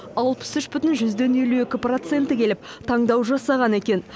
алпыс үш бүтін жүзден елу екі проценті келіп таңдау жасаған екен